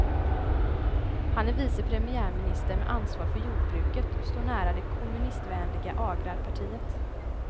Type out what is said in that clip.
Han är vice premiärminister med ansvar för jordbruket och står nära det kommunistvänliga agrarpartiet.